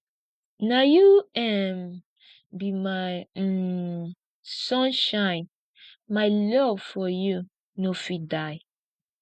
na you um be my um sunshine my love for you no fit die